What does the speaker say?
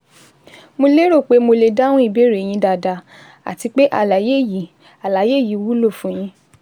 Mo lérò pé mo lè dáhùn ìbéèrè yín dáadáa àti pé àlàyé yìí àlàyé yìí wúlò fún yín